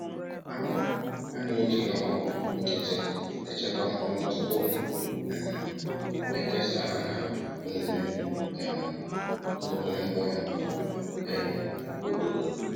Ha Ha na-eji ọkpọ nkịtị echekwa mkpụrụ tupu um ha ekesa ha na emume um nkwụnye mkpụrụ um obodo